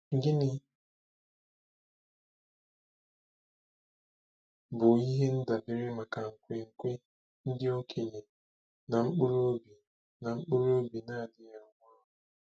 Gịnị bụ ihe ndabere maka nkwenkwe ndị okenye na mkpụrụ obi na mkpụrụ obi na-adịghị anwụ anwụ?